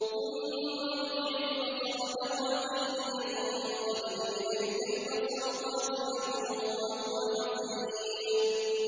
ثُمَّ ارْجِعِ الْبَصَرَ كَرَّتَيْنِ يَنقَلِبْ إِلَيْكَ الْبَصَرُ خَاسِئًا وَهُوَ حَسِيرٌ